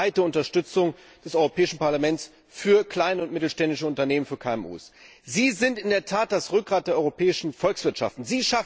Das zeigt die breite Unterstützung des Europäischen Parlaments für kleine und mittelständische Unternehmen, für KMUs. Sie sind in der Tat das Rückgrat der europäischen Volkswirtschaften.